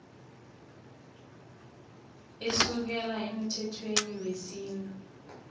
asukela emthethweni wesintu